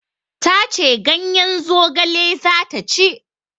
Ta ce ganyen zogale za ta ci.